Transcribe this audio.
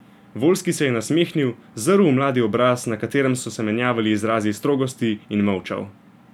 Voljski se je nasmehnil, zrl v mladi obraz, na katerem so se menjavali izrazi strogosti, in molčal.